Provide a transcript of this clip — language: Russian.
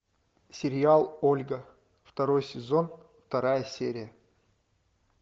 сериал ольга второй сезон вторая серия